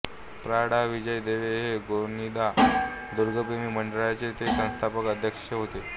प्रा डाॅ विजय देव हे गोनीदा दुर्गप्रेमी मंडळाचे ते संस्थापकअध्यक्ष होते